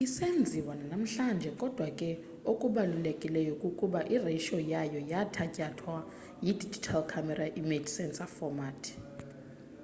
isenziwa nanamhlanje kodwa ke okubalulekileyo kukuba iratio yayo yathatyathwa yi-digital camera image sensor format